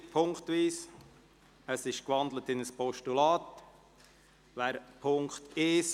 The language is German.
Der Vorstoss ist in ein Postulat gewandelt worden.